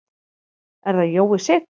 Er það Jói Sig?